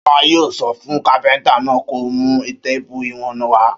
Ṣọlá yóò sọ fún kápẹ́ńtà náà kó mú téépù ìwọ̀n wá.